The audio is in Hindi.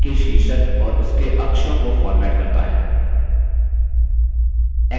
title option chart के शीर्षक और उसके अक्षों को फ़ॉर्मेट करता है